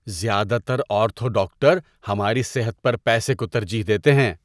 زیادہ تر ortho doctor ہماری صحت پر پیسے کو ترجیح دیتے ہیں۔